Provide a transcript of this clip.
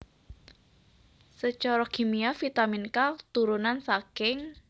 Sacara kimia vitamin K turunan saking